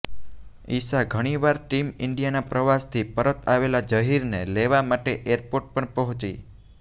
ઈશા ઘણીવાર ટીમ ઈન્ડિયાના પ્રવાસથી પરત આવેલા ઝહીરને લેવા માટે એરપોર્ટ પણ પહોંચી